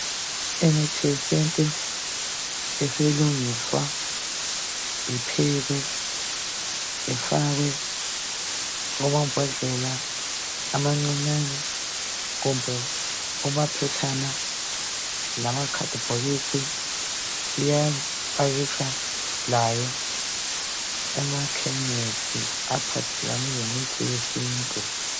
Imithi yesintu isilungiswa iphekwe ifakwe kumambodlela amancinyane kumbe kumaphetshana lamakhadibhokisi iyapakitshwa layo kumakhemisi aphathelane lemithi yesintu.